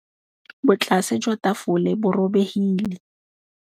Botlasê jwa tafole bo robegile.